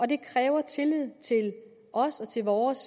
det kræver tillid til os og til vores